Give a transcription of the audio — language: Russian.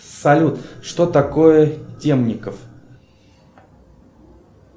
салют что такое темников